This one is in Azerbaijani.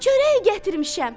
Çörək gətirmişəm.